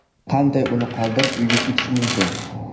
Qanday uni qoldirib, uyga ketish mumkin?